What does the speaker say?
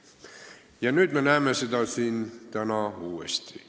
Ja nüüd me näeme seda täna uuesti.